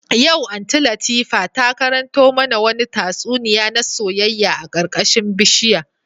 Yau Aunty Latifa ta karanto mana wani tatsuniya na soyayya a karkashin bishiyar